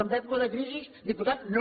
en època de crisi diputat no